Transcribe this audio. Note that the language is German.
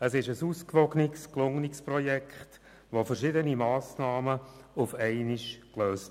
Wir haben ein ausgewogenes und gelungenes Projekt, das verschiedene Probleme gleichzeitig löst.